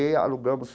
E alugamos.